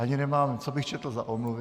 Ani nemám, co bych četl za omluvy...